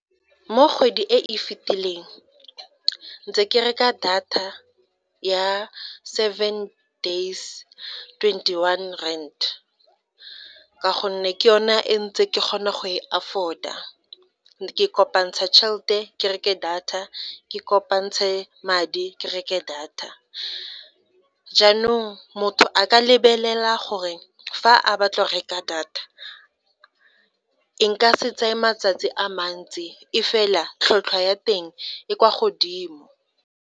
Mo kgwedi e e fetileng ntse ke reka data ya seven days twenty one rand, ka gonne ke yona e ntse ke kgona go e afford-a ke kopantsha chelete ke reke data ke kopantshe madi ke reke data, jaanong motho a ka lebelela gore fa a batla go reka data e nka se tseye matsatsi a mantsi e fela tlhotlhwa ya teng e kwa godimo.